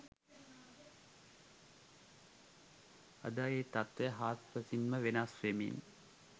අද එම තත්වය හාත්පසින් ම වෙනස් වෙමින්